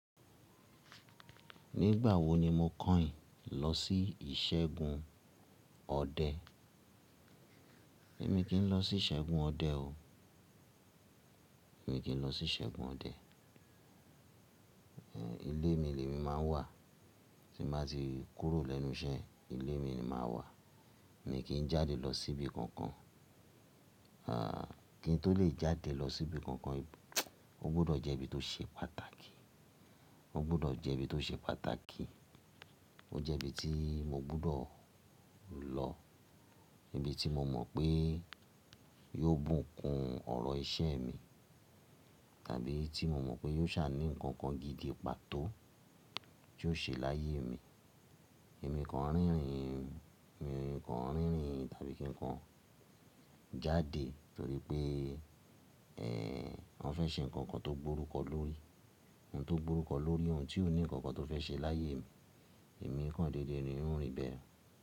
Nígbà wo ni mo kànyin ìlọsí ìṣẹ́gun ọdẹ? Èmi kì í lọ sí ìṣẹ́gun ọdẹ o. Mi kì í lọ sí ìṣẹ́gun ọdẹ. Ilé mi lè mi má ń wà. Tí mo bá ti kúrò lẹ́nu iṣẹ́, ilé mi ni màá wà. Mi kì í jáde lọ sí ibi kankan. Kí n tó lè jáde lọ sí ibi kankan, o gbọdọ̀ jẹ́ ibi tó ṣe pàtàkì. O gbọdọ̀ jẹ́ ibi tó ṣe pàtàkì. O jẹ́ ibi tí mo gbúdọ̀ lọ. Ibi tí mo mọ̀ pé yóò bùkún ọ̀rọ̀ iṣẹ́ mi, tàbí tí mo mọ̀ pé yóò sá ní nǹkan kan gidi pàtó tí yóò ṣe láyé mi. Ẹ̀mí kan rínrìn, ẹ̀mí kan rínrìn tàbí kí ǹkan jáde torí pé, ẹ́ n o fẹ́ ṣe nǹkan kan tó gbórúkọ lórí ohun tó gbórúkọ lórí ohun tí ó ní nǹkan kan tó fẹ́ ṣe láyé mi. Ẹ̀mí kan déédéé ni ó rìn bẹ́ẹ̀.